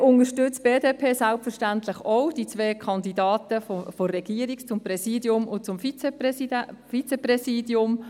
Weiter unterstützt die BDP selbstverständlich ebenfalls die zwei Kandidaten der Regierung für das Präsidium und das Vizepräsidium.